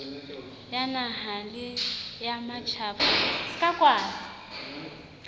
ya naha le ya matjhaba